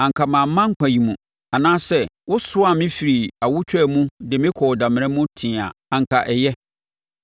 Anka mamma nkwa yi mu, anaasɛ wosoaa me firi awotwaa mu de me kɔɔ damena mu tee a, anka ɛyɛ.